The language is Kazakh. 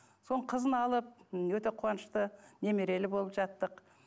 соның қызын алып м өте қуанышты немерелі болып жаттық